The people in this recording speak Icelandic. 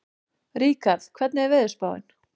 Ríkharð, hvernig er veðurspáin?